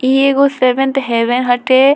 इ एगो seventh heaven हटे।